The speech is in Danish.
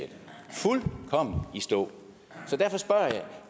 stå så derfor spørger jeg